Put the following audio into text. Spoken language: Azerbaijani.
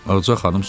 Ağaca xanım soruşdu: